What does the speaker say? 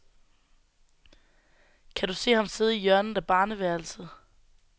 Kan du se ham sidde i hjørnet af barneværelset.